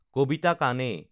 কবিতা কানে